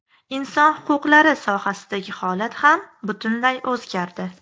Inson huquqlari sohasidagi holat ham butunlay o‘zgardi.